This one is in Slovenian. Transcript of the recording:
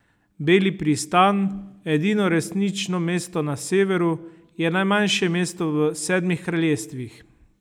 Beli pristan, edino resnično mesto na Severu, je najmanjše mesto v Sedmih kraljestvih.